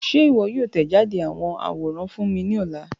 Ṣe iwọ yoo tẹjade awọn aworan fun mi ni ọla?